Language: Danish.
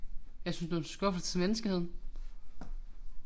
Jeg synes du en skuffelse til menneskeligheden